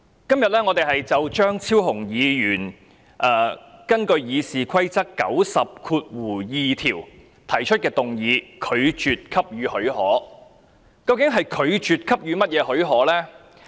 主席，我們今天討論張超雄議員根據《議事規則》第902條提出的議案，以拒絕給予許可。